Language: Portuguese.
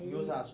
Em Osasco